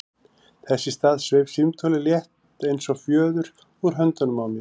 Þess í stað sveif símtólið, létt eins og fjöður, úr höndunum á mér.